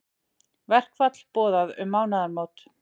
Verkfall boðað um mánaðamót